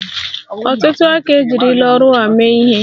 Ọtụtụ aka ejirila ọrụ a mee ihe.